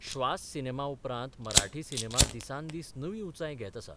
श्वास 'सिनेमा उपरांत मराठी सिनेमा दिसान दीस नवी उंचाय घेत आसा.